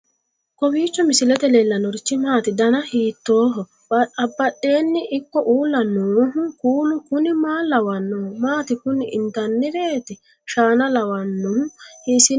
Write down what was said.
kowiicho misilete leellanorichi maati ? dana hiittooho ?abadhhenni ikko uulla noohu kuulu kuni maa lawannoho? maati kuni intannireeti shaana lawannohu hiissine intanniho